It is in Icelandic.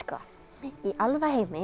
í